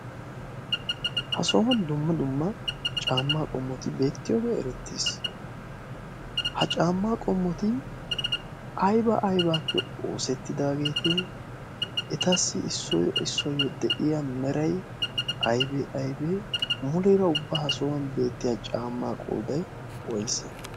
Ha sohuwan dumma dumma caamma qommoti beettiyooge erettees. ha caama qommoti aybba aybbappe oosetidaageete? etassi issuwaw issuwaw de'iyaa meray aybbe aybbe? muleera ubba ha sohuwan beettiya caammay qooday woysse?